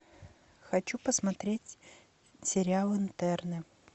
хочу посмотреть сериал интерны